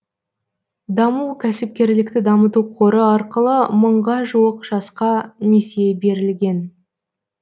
даму кәсіпкерлікті дамыту қоры арқылы мыңға жуық жасқа несие берілген